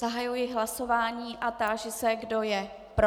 Zahajuji hlasování a táži se, kdo je pro.